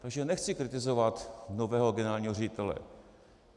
Takže nechci kritizovat nového generálního ředitele.